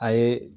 A ye